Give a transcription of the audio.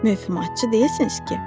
Mövhumatçı deyilsiniz ki?